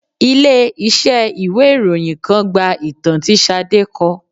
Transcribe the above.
Ilé iṣẹ́ ìwé ìròyìn kan gba ìtàn tí Sade kọ